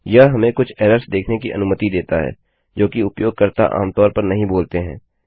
यह हमें कुछ एरर्स देखने की अनुमति देता है जोकि उपयोगकर्ता आमतौर पर नहीं बोलते हैं